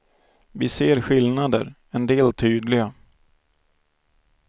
Vi ser skillnader, en del tydliga.